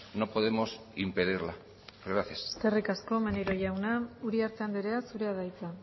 no podemos impedirla gracias eskerrik asko maneiro jauna uriarte andrea zurea da hitza